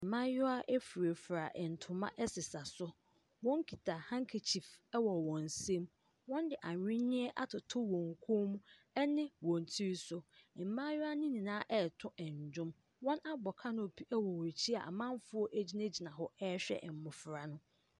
Mmayewa furafura ntoma sesa so. Wɔkuta handkerchief wɔ wɔn nsam. Wɔde ahwenneɛ atoto wɔn kɔn mu ne wɔn tiri so. Mmayewa no nyinaa reto nnwom. Wɔabɔ canopy wɔ wɔn akyi a amanfoɔ gyinagyina hɔ rehwɛ mmɔfra no.